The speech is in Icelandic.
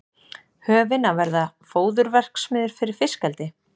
Höfin að verða fóðurverksmiðjur fyrir fiskeldi